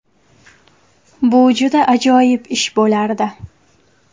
Bu juda ajoyib ish bo‘lardi”.